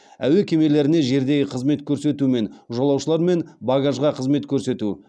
әуе кемелеріне жердегі қызмет көрсету мен жолаушылар мен багажға қызмет көрсету